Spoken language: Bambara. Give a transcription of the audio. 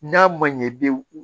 N'a ma ɲɛ i bɛ